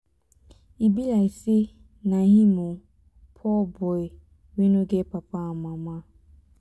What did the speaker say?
e be like say na him oo. poor boy wey no get papa and mama.